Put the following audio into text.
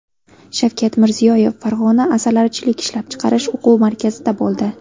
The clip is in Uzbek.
Shavkat Mirziyoyev Farg‘ona asalarichilik ishlab chiqarish o‘quv markazida bo‘ldi.